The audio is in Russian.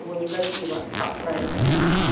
его негатива как правильно